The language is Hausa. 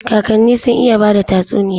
Kakani sun iya bada tatsuniya.